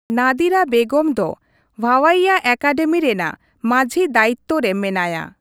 ᱱᱟᱫᱤᱨᱟ ᱵᱮᱜᱚᱢ ᱫᱚ ᱵᱷᱟᱣᱟᱭᱭᱟ ᱮᱠᱟᱰᱮᱢᱤ ᱨᱮᱱᱟᱜ ᱢᱟᱺᱡᱦᱤ ᱫᱟᱭᱤᱛᱛᱚ ᱨᱮ ᱢᱮᱱᱟᱭᱟ ᱾